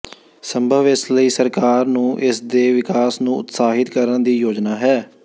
ਸੰਭਵ ਇਸ ਲਈ ਸਰਕਾਰ ਨੂੰ ਇਸ ਦੇ ਵਿਕਾਸ ਨੂੰ ਉਤਸ਼ਾਹਿਤ ਕਰਨ ਦੀ ਯੋਜਨਾ ਹੈ